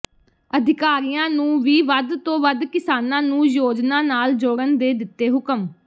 ਅਧਿਕਾਰੀਆਂ ਨੂੰ ਵੀ ਵੱਧ ਤੋਂ ਵੱਧ ਕਿਸਾਨਾਂ ਨੂੰ ਯੋਜਨਾ ਨਾਲ ਜੋੜਨ ਦੇ ਦਿੱਤੇ ਹੁਕਮ